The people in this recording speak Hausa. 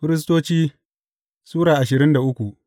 Firistoci Sura ashirin da uku